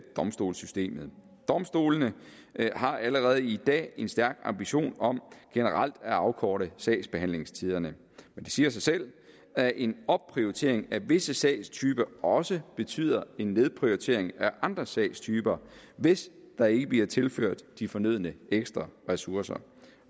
domstolssystemet domstolene har allerede i dag en stærk ambition om generelt at afkorte sagsbehandlingstiderne men det siger sig selv at en opprioritering af visse sagstyper også betyder en nedprioritering af andre sagstyper hvis der ikke bliver tilført de fornødne ekstra ressourcer